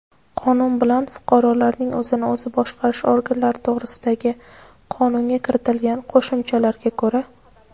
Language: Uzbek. Qonun bilan "Fuqarolarning o‘zini o‘zi boshqarish organlari to‘g‘risida"gi Qonunga kiritilgan qo‘shimchalarga ko‘ra:.